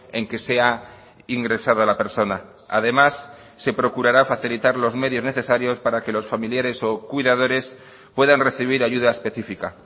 en que sea ingresada la persona además se procurará facilitar los medios necesarios para que los familiares o cuidadores puedan recibir ayuda específica